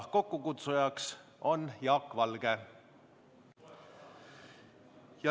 Kokkukutsujaks on Jaak Valge.